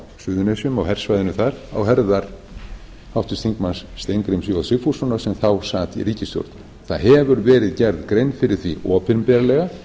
á suðurnesjum á hersvæðinu þar á herðar háttvirtur þingmaður steingríms j sigfússonar sem þá sat í ríkisstjórn það hefur verið gerð grein fyrir því opinberlega